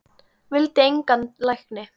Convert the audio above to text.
Vildi engan lækni.